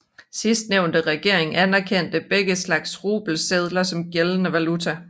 Sidstnævnte regering anerkendte begge slags rubelsedler som gældende valuta